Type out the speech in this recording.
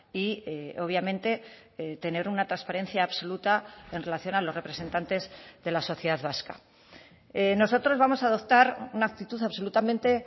y obviamente tener una transparencia absoluta en relación a los representantes de la sociedad vasca nosotros vamos a adoptar una actitud absolutamente